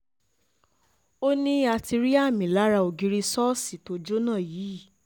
ó ní a ti rí àmì lára ògiri ṣọ́ọ̀ṣì tó jóná yìí